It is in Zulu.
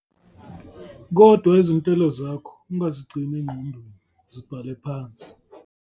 Kodwa izinhlelo zakho ungazigcini engqondweni, zibhale phansi.